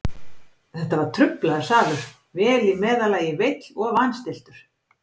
Þetta var truflaður salur, vel í meðallagi veill og vanstilltur.